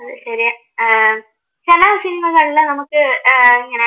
ചില സിനിമകളില് നമുക്ക് ഏർ ഇങ്ങനെ